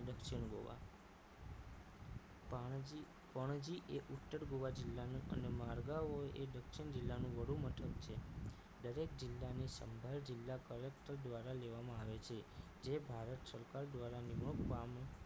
પાણજી પણજી એ ઉત્તર ગોવા જિલ્લાનું અને મારગાવો એ દક્ષિણ જિલ્લાનું વડુ મથક છે દરેક જિલ્લાની સંભાળ જિલ્લા કલેકટર દ્વારા લેવામાં આવે છે જે ભારત સરકાર દ્વારા નિમણૂક પામી